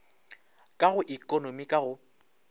ka go ekonomi ka go